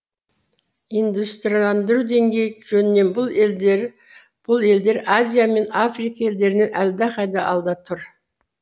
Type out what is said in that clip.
индустрияландыру деңгейі жөнінен бұл елдер азия мен африка елдерінен әлдеқайда алда тұр